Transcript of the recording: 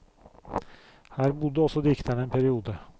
Her bodde også dikteren en periode.